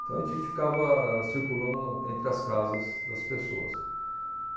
Então, a gente ficava circulando entre as casas das pessoas.